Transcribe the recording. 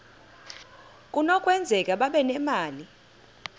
kunokwenzeka babe nemali